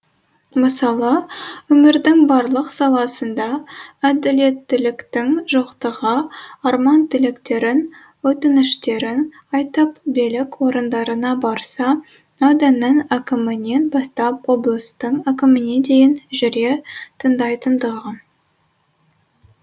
мысалы өмірдің барлық саласында әділеттіліктің жоқтығы арман тілектерін өтініштерін айтып билік орындарына барса ауданның әкімінен бастап облыстың әкіміне дейін жүре тыңдайтындығы